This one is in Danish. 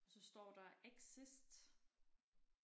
Og så står der exist